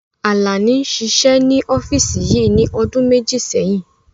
Àlàní ṣiṣẹ́ ní ọ́físì yìí ní ọdún méjì sẹ́yìn